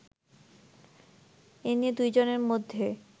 এ নিয়ে দুই জনের মধ্যে